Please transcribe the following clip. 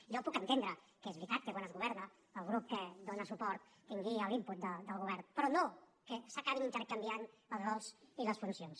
jo ho puc entendre que és veritat que quan es governa el grup que dóna suport tingui l’input del govern però no que s’acabin intercanviant els rols i les funcions